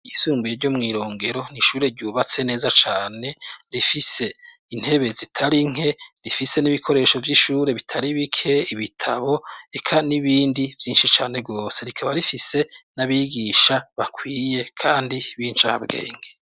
Isumbuye ryo mw'irongero nishure ryubatse neza cane rifise intebe zitari nke rifise n'ibikoresho vy'ishure bitari bike ibitabo eka n'ibindi vyinshi cane rwose rikaba rifise n'abigisha bakwiye, kandi bincabwenge.